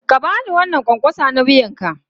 Ka ba ni wannan ƙwanƙwasa na wuyanka!